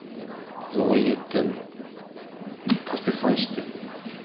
ой кетті тастай салайыншы деп